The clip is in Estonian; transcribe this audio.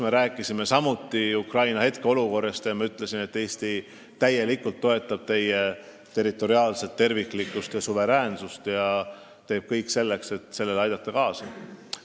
Me rääkisime ka Ukraina praegusest olukorrast ja ma ütlesin, et Eesti toetab täielikult Ukraina territoriaalset terviklikkust ja suveräänsust ning teeb kõik selleks, et sellele kaasa aidata.